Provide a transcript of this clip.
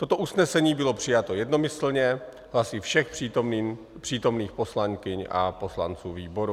Toto usnesení bylo přijato jednomyslně hlasy všech přítomných poslankyň a poslanců výboru.